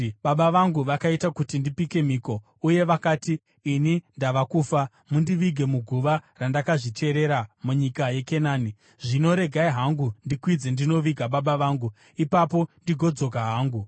‘Baba vangu vakaita kuti ndipike mhiko uye vakati, “Ini ndava kufa; mundivige muguva randakazvicherera munyika yeKenani.” Zvino regai hangu ndikwidze ndinoviga baba vangu; ipapo ndigozodzoka hangu.’ ”